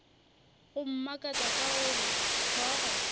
go mmakatša ke gore hlogo